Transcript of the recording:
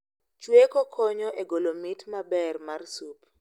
Chweko konyo e golo mit maber mar sup